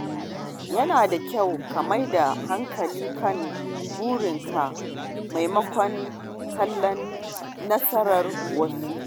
Yana da kyau ka maida hankali kan burinka maimakon kallon nasarar wasu.